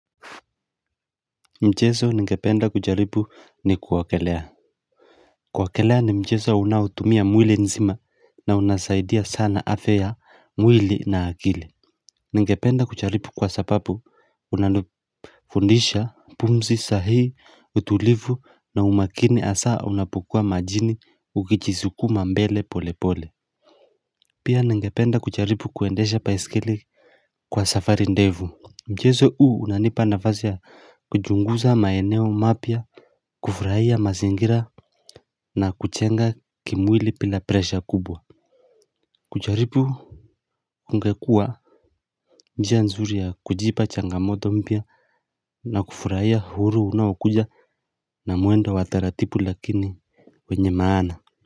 Mchezo ningependa kujaribu ni kuogelea kuogelea ni mchezo unaotumia mwili nzima na unasaidia sana afya ya mwili na akili Ningependa kujaribu kwa sababu unanifundisha pumzi sahihi utulivu na umakini hasaa unapokua majini ukijisukuma mbele pole pole Pia ningependa kujaribu kuendesha baisikeli Kwa safari ndefu Mchezo huu hunanipa nafasi ya kuchunguza maeneo mapya kufurahia mazingira na kujenga kimwili bila presha kubwa kujaribu kungekua njia nzuri ya kujipa changamoto mpya na kufurahia huru unaokuja na mwendo wa taratibu lakini wenye maana.